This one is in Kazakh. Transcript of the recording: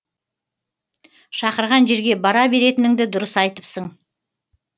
шақырған жерге бара беретініңді дұрыс айтыпсың